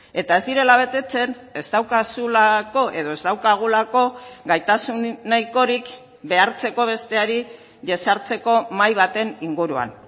eta ez direla betetzen ez daukazulako edo ez daukagulako gaitasun nahikorik behartzeko besteari jesartzeko mahai baten inguruan